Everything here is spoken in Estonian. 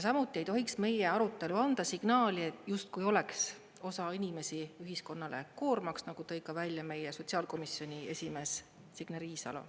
Samuti ei tohiks meie arutelu anda signaali, justkui oleks osa inimesi ühiskonnale koormaks, nagu tõi ka välja meie sotsiaalkomisjoni esimees Signe Riisalo.